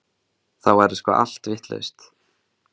Þá verður sko allt vitlaust.